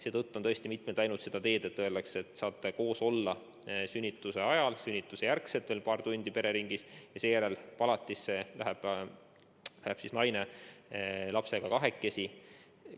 Seetõttu on mindud seda teed, et öeldakse, et te saate koos olla sünnituse ajal ja sünnituse järel veel paar tundi pereringis, aga seejärel palatisse läheb läheb naine lapsega kahekesi.